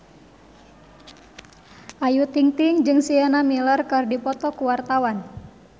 Ayu Ting-ting jeung Sienna Miller keur dipoto ku wartawan